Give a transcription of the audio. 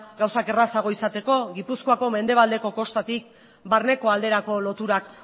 gauzak errazago izateko gipuzkoako mendebaldeko kostatik barneko alderako loturak